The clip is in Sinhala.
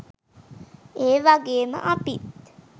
ඒවගේම අපිත්